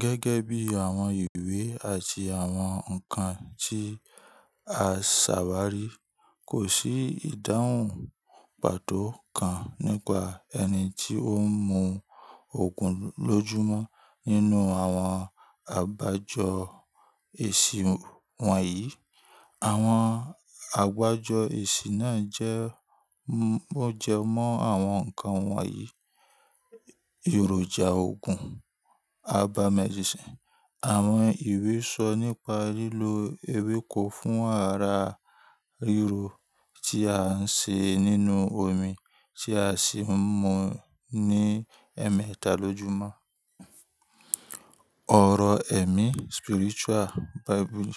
Gẹ́gẹ́ bí àwọn ìwé àti àwọn nǹkan tí a ṣàbá rí, kò sí ìdáhùn pàtó kan nípa ẹni tó ń mú òògùn lójúmọ́ nínú àwọn àgbájọ èsì wọ̀nyí. Àwọn àgbájọ èsì náà jẹ mọ́jọ mọ́ àwọn nǹkan wọ̀nyí: Èròjà oògùn/Herbal medicine. Àwọn ìwé sọ nípa lílo ewéko fún ara rírò tí à ń ṣe nínú omi tí a sì ń mu ní emẹta lọjúmọ́. Ọ̀rọ̀ ẹ̀mí/ Spiritual Bible.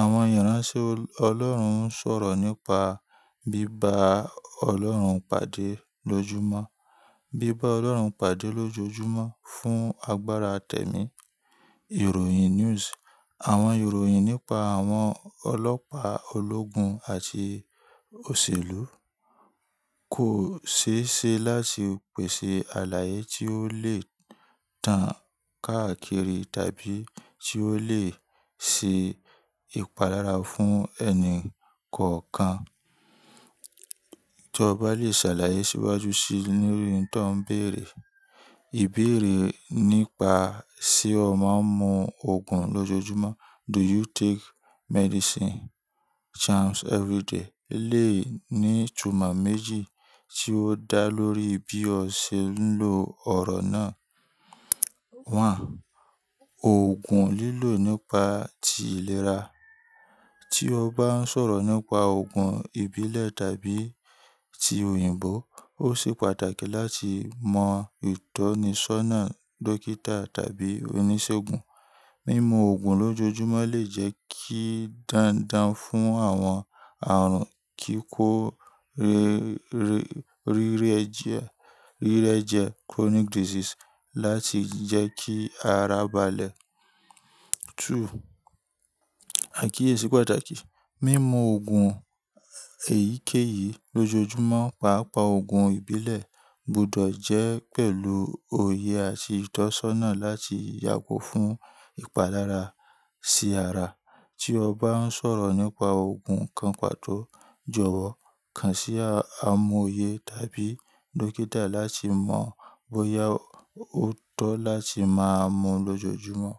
Àwọn yànrá só ọlọ́run ń sọ̀rọ̀ nípa bíba ọlọ́run pade lójoojúmọ́. Bíba ọlọ́run pade lójoojúmọ́ fún agbára tẹ̀mí. Ìròyìn news. Àwọn ìròyìn nípa àwọn ọlọ́pàá ológun àti òṣèlú. Kò ṣée ṣe láti pèsè àlàyé tí ó lè tán káàkiri tàbí tí ó lè se ìpalára fún ẹni kankan. Tí o bá le ṣàlàyé si iwájú sí lorí oun to n bère ìbéèrè ni pa se o ma n mú ogun lojóju mó? Do you take Medicine charms everyday lé ní itumo méji ti o dá lòrí bi o sé n ló oro na 1. Òògùn lilo nipa tí iléra ti o ba n sòro nípa òògùn ìbílè tabi tí oyinbo o sé pàtàkì lati mọ itónisona dókitá tabí onísègùn mimu òògùn lojójumó lé je ki dandan fun awon arun kikó rere ireje chronic disease làti je Ki àrà bàlé 2. Akiyesi pataki mimu ogun eyikeyi lojó júmõ paa páa ogun ibile gbúdò je pelu óye ati itósana làti yago fun ipalara si àrà ti o ba n soro nipasẹ ogun kan pató jowó kán si ámu óye tabi dokitalàti mọ bóya o to làti má mú lojó júmõ.